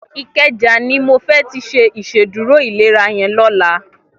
Ikeja ni mó fè ti ṣé Ìṣédùró ilérà yèn lòlá